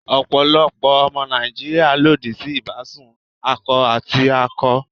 Ọ̀pọ̀lọpọ̀ ọmọ Nàìjíríà lòdì sí ìbásùn akọ àti akọ.